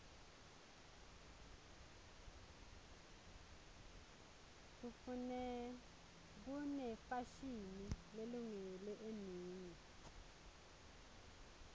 kunefashini lelungele emini